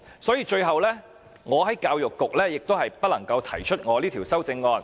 所以，我最後亦不能就教育局提出這項修正案。